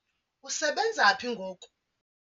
usebenza phi ngoku?